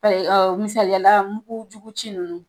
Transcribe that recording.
Ayi lɔɔ misaliyala muguujugu ci ninnu